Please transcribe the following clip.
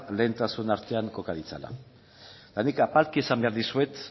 lehentasun artean koka ditzala eta nik apalki esan behar dizuet